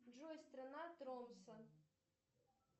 джой страна тромсе